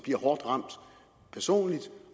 hårdt ramt personligt